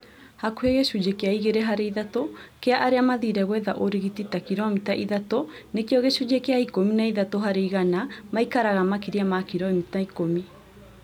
Hakuhĩ gĩcunjĩ kĩa igĩrĩ harĩ ithatũ kĩa arĩa mathire gwetha ũrigiti ta kilomita ithatũ nakĩo gĩcunjĩ kĩa ikũmi na ithatũ harĩ igana maikaraga makĩria ma kilomita ikũmi